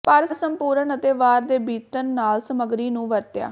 ਪਰ ਸੰਪੂਰਣ ਅਤੇ ਵਾਰ ਦੇ ਬੀਤਣ ਨਾਲ ਸਮੱਗਰੀ ਨੂੰ ਵਰਤਿਆ